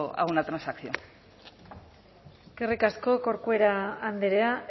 a una transacción eskerrik asko corcuera andrea